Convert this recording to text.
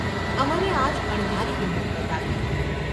’ અમરે આજ અણધારી હિંમત બતાવી.